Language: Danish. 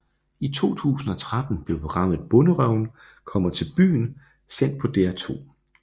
I 2013 blev programmet Bonderøven kommer til byen sendt på DR2